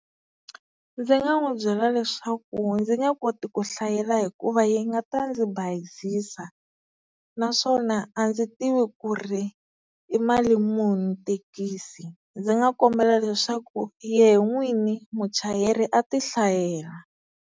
Ndzi nga n'wi byela leswaku ndzi nge koti ku hlayela hikuva yi nga ta ndzi bayizisa, naswona a ndzi tivi ku ri i mali muni thekisi, ndzi nga kombela leswaku yehe n'wini muchayeri a ti hlayela.